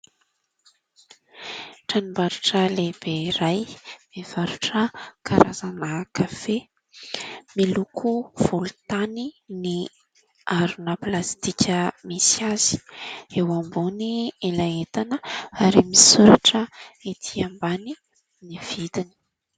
Tranombarotra lehibe iray mivarotra karazana kafe ,miloko volotany ny harona plastika misy azy eo ambony ilay entana ary misoratra etỳ ambany ny vidiny .